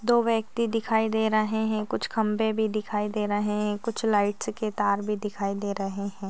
दो व्यक्ति दिखाई दे रहे है कुछ खंबे भी दिखाई दे रहे है कुछ लाइटस के तार भी दिखाई दे रहे है।